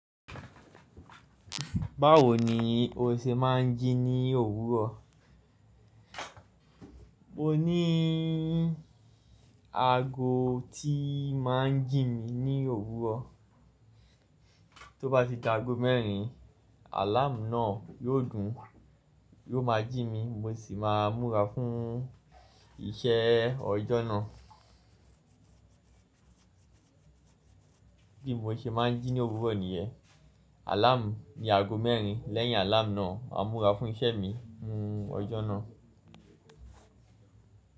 Báwo ni o ṣe máa ń jí ní òwúrọ̀? Mo ní àgò tí ì máa ń jí mi ní òwúrọ̀. Tóbá ti de àgò mẹ́rin, àláàmù náà yóò dún, yóò máa jí mi mo sì máa múra fún isẹ́ ọjọ́ náà. Bí mo ṣe máa ń jí ní òwúrọ̀ nìyẹ́. Àláàmù ni àgò mẹ́rin lẹ́yìn àláàmù náà, a múra fún isẹ́ mi mú ọjọ́ náà.